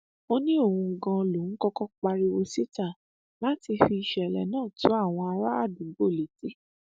ó ní òun ganan lòún kọkọ pariwo síta láti fi ìṣẹlẹ náà tó àwọn àràádúgbò létí